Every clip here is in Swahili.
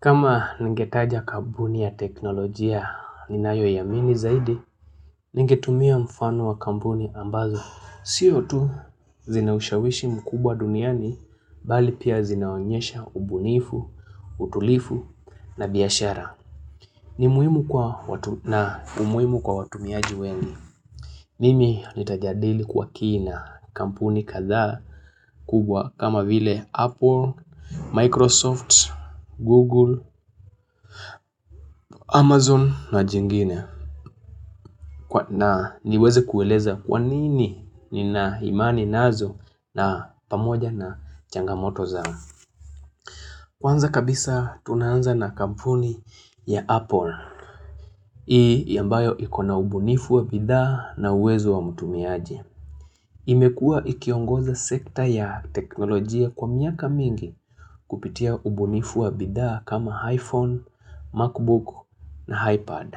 Kama ningetaja kampuni ya teknolojia ninayoiamini zaidi, ningetumia mfano wa kampuni ambazo. Sio tu zina ushawishi mkubwa duniani, bali pia zinaonyesha ubunifu, utulifu na biashara. Ni muhimu kwa watu na umuhimu kwa watumiaji wengi. Mimi nitajadili kwa kina kampuni kadhaa kubwa kama vile Apple, Microsoft, Google, Amazon na jingine. Na niweze kueleza kwa nini nina imani nazo na pamoja na changamoto zao. Kwanza kabisa tunaanza na kampuni ya Apple. Hii yambayo ikona ubunifu wa bidhaa na uwezo wa mtumiaje. Imekua ikiongoza sekta ya teknolojia kwa miaka mingi kupitia ubunifu wa bidhaa kama iPhone, MacBook na iPad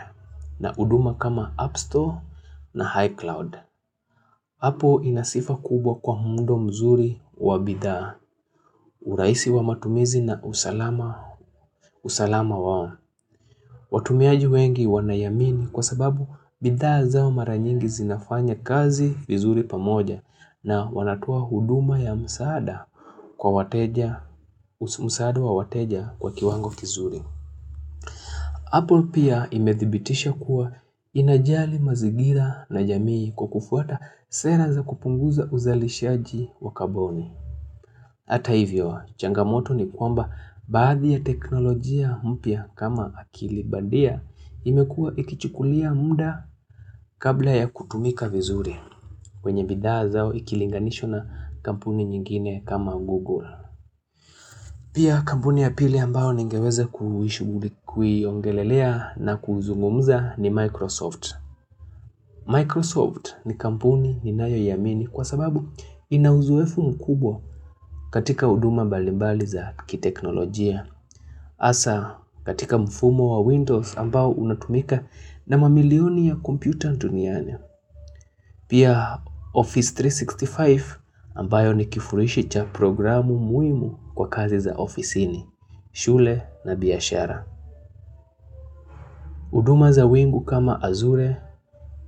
na huduma kama app Store na iCloud. Hapo ina sifa kubwa kwa muundo mzuri wa bidhaa, urahisi wa matumizi na usalama wao. Watumiaji wengi wanaiamini kwa sababu bidhaa zao mara nyingi zinafanya kazi vizuri pamoja na wanatoa huduma ya msaada kwa wateja msaada wa wateja kwa kiwango kizuri. Apple pia imedhibitisha kuwa inajali mazigira na jamii kwa kufuata sera za kupunguza uzalishaji wa kaboni. Hata hivyo, changamoto ni kwamba baadhi ya teknolojia mpya kama akilibandia imekuwa ikichukulia muda kabla ya kutumika vizuri kwenye bidhaa zao ikilinganishwa na kampuni nyingine kama Google. Pia kampuni ya pili ambayo ningeweza kuiongelelea na kuzungumza ni Microsoft. Microsoft ni kampuni ninayoiamini kwa sababu ina uzoefu mkubwa katika huduma mbalimbali za kiteknolojia. Hasa katika mfumo wa Windows ambao unatumika na mamilioni ya kompyuta duniani. Pia Office 365 ambayo ni kifurishi cha programu muhimu kwa kazi za ofisini shule na biashara huduma za wingu kama azure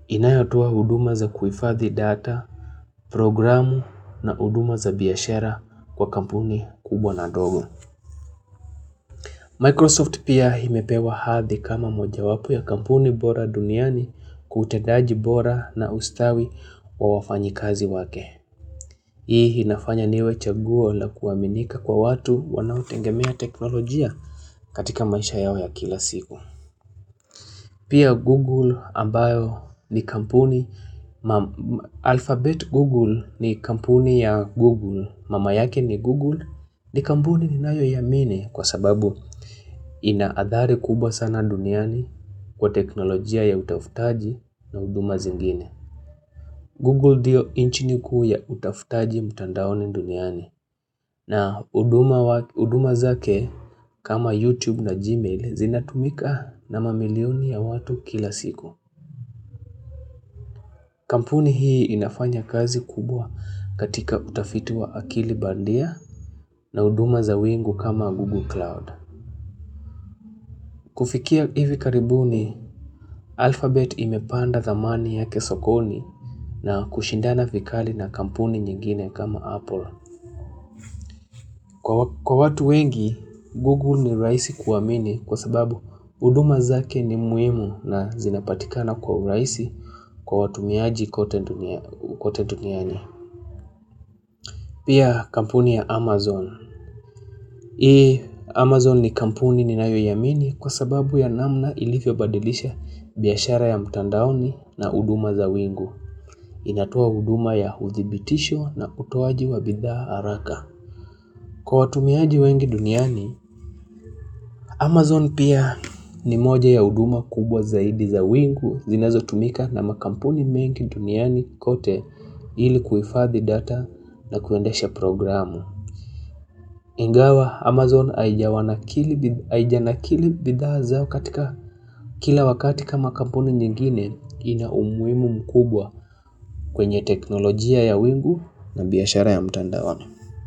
inayotoa huduma za kuhifadhi data, programu na huduma za biashara kwa kampuni kubwa na ndogo Microsoft pia imepewa hadhi kama mojawapp ya kampuni bora duniani kwa utendaji bora na ustawi wa wafanyikazi wake Hii inafanya niwe chaguo la kuaminika kwa watu wanaotengemea teknolojia katika maisha yao ya kila siku Pia Google ambayo ni kampuni. Alphabet Google ni kampuni ya Google. Mama yake ni Google ni kampuni ninayoiamini kwa sababu ina adhari kubwa sana duniani kwa teknolojia ya utafutaji na huduma zingine. Google ndiyo engine kuu ya utafutaji mtandaoni duniani na huduma zake kama YouTube na Gmail zinatumika na mamilioni ya watu kila siku. Kampuni hii inafanya kazi kubwa katika utafiti wa akili bandia na huduma za wingu kama Google Cloud. Kufikia hivi karibuni Alphabet imepanda thamani yake sokoni na kushindana vikali na kampuni nyingine kama Apple. Kwa watu wengi, Google ni rahisi kuamini kwa sababu huduma zake ni muhimu na zinapatikana kwa urahisi kwa watumiaji kote duniani. Pia kampuni ya Amazon. Ee, Amazon ni kampuni ninayoiamini kwa sababu ya namna ilivyobadilisha biashara ya mtandaoni na huduma za wingu. Inatoa huduma ya uthibitisho na utoaji wa bidhaa haraka. Kwa watumiaji wengi duniani, Amazon pia ni moja ya huduma kubwa zaidi za wingu zinazotumika na makampuni mengi duniani kote ili kuhifadhi data na kuendesha programu. Ingawa, Amazon haija nakili bidhaa zao katika kila wakati kama kampuni nyingine ina umuhimu mkubwa kwenye teknolojia ya wingu na biashara ya mtandaoni.